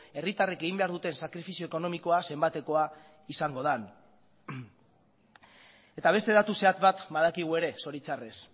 herritarrek egin behar duten sakrifizio ekonomikoa zenbatekoa izango den eta beste datu zehatz bat badakigu ere zoritxarrez